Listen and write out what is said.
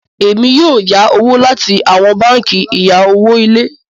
Èmi yóò yá owo láti awọn bánkì ìya owo ilé.